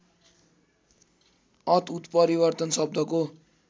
अत उत्परिवर्तन शब्दको